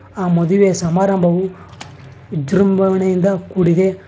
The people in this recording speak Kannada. ಆ ಮದುವೆ ಸಮಾರಂಭವು ವಿಜೃಂಭಣೆಯಿಂದ ಕೂಡಿದೆ.